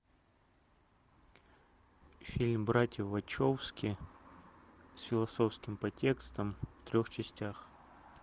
фильм братьев вачовски с философским подтекстом в трех частях